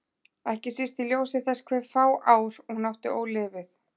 Ekki síst í ljósi þess hve fá ár hún átti ólifuð.